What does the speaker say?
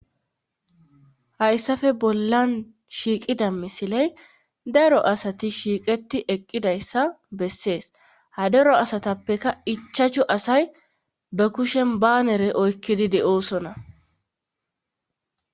hayssafe bollan shiiqida misiley daro asati shiiqeti eqqidayssa bessees ha daro asatappeka ichachu asay ba kushen baanere oykkidi de7oosona